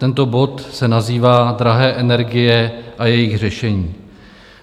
Tento bod se nazývá Drahé energie a jejich řešení.